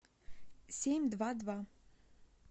семь два два